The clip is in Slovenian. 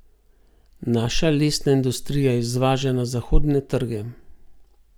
Naša lesna industrija izvaža na zahodne trge.